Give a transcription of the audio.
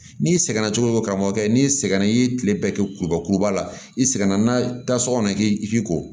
N'i sɛgɛnna cogo o cogo karamɔgɔ ye n'i sɛgɛn na i ye tile bɛɛ kɛ kurubakuruba la i sɛgɛnna n'a ta so kɔnɔ k'i k'i ko